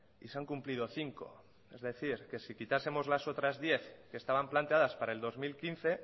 y se han cumplido cinco es decir si quitásemos las otras diez que estaban planteadas para el dos mil quince